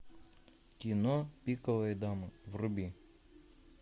кино пиковая дама вруби